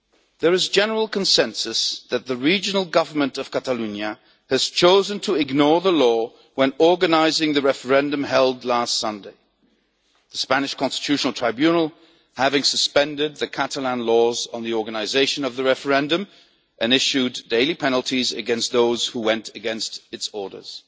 There is general consensus that the regional government of Catalonia chose to ignore the law when organising the referendum held last Sunday, the Spanish Constitutional Court having suspended the Catalan laws on the organisation of the referendum and issued daily penalties against those who went against its orders.